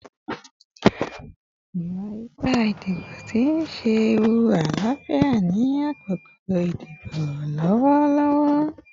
Iwa-ipa idibo n ṣe ewu alaafia ni akoko idibo lọwọlọwọ